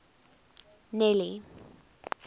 nelly